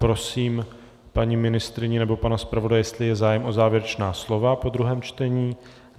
Prosím paní ministryni nebo pana zpravodaje, jestli je zájem o závěrečná slova po druhém čtení.